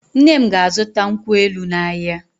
Nne m ga-azụta nkwụ elụ n’ahịa.